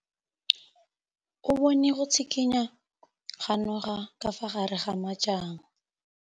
O bone go tshikinya ga noga ka fa gare ga majang.